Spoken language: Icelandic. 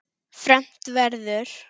Fermt verður.